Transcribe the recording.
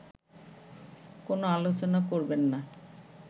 কোন আলোচনা করবেন না